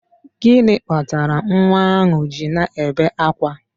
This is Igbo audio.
Gịnị kpatara nwa ahụ ji na-ebe akwa?